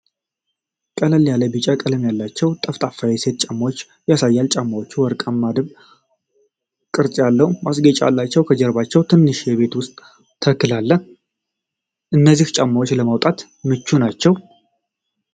ቀለል ያለ ቢዥ ቀለም ያላቸው ጠፍጣፋ የሴቶች ጫማዎችን ያሳያል። ጫማዎቹ በወርቃማ ድብ ቅርጽ ያለው ማስጌጫ አላቸው። ከጀርባ ትንሽ የቤት ውስጥ ተክል አለ። እነዚህ ጫማዎች ለመውጣት ምቹ ናቸው?